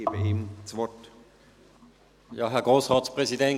Ich gebe ihm das Wort.